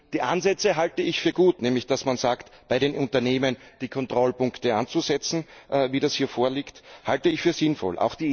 Die Ansätze halte ich für gut, nämlich dass man sagt, bei den Unternehmen die Kontrollpunkte anzusetzen wie das hier vorliegt dies halte ich für sinnvoll.